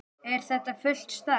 Er þetta fullt starf?